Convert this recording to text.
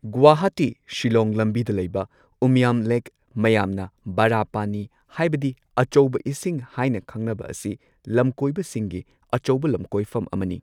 ꯒꯨꯋꯥꯍꯥꯇꯤ ꯁꯤꯜꯂꯣꯡ ꯂꯝꯕꯤꯗ ꯂꯩꯕ ꯎꯃꯤꯌꯝ ꯂꯦꯛ ꯃꯌꯥꯝꯅ ꯕꯥꯔꯥ ꯄꯥꯅꯤ ꯍꯥꯏꯕꯗꯤ ꯑꯆꯧꯕ ꯏꯁꯤꯡ ꯍꯥꯏꯅ ꯈꯪꯅꯕ ꯑꯁꯤ ꯂꯝꯀꯣꯏꯕꯁꯤꯡꯒꯤ ꯑꯆꯧꯕ ꯂꯝꯀꯣꯏꯐꯝ ꯑꯃꯅꯤ꯫